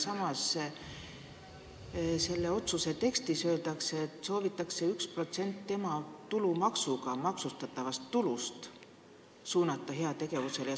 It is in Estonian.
Samas öeldakse selle otsuse eelnõu tekstis, et soovitakse 1% tulumaksuga maksustatavast tulust suunata heategevusele.